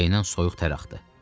Kürəyindən soyuq tər axdı.